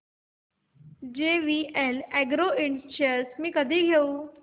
JVL agro ind shares मी कधी घेऊ